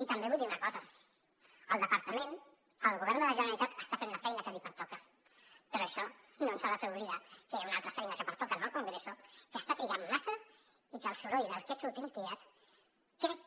i també vull dir una cosa el departament el govern de la generalitat està fent la feina que li pertoca però això no ens ha de fer oblidar que hi ha una altra feina que pertoca al congreso que està trigant massa i que pel soroll d’aquests últims dies crec